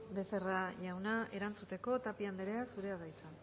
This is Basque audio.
becerra jauna erantzuteko tapia anderea zurea da hitza